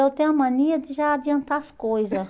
Eu tenho a mania de já adiantar as coisa.